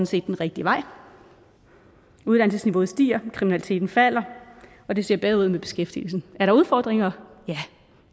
set den rigtige vej uddannelsesniveauet stiger og kriminaliteten falder og det ser bedre ud med beskæftigelsen er der udfordringer ja